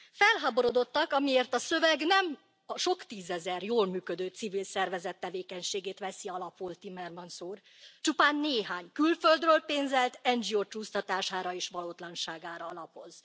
Felháborodottak, amiért a szöveg nem a sok tízezer jól működő civil szervezet tevékenységét veszi alapul, Timmermans úr csupán néhány külföldről pénzelt NGO csúsztatására és valótlanságára alapoz.